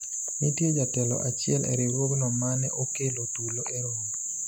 nitie jatelo achiel e riwruogno mane okelo tulo e romo